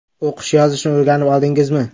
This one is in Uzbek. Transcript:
O‘qish, yozishni o‘rganib oldingizmi?